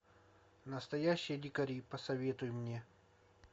настоящие дикари посоветуй мне